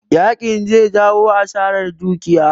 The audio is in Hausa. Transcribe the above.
Yakin zai jawo asarar dukiya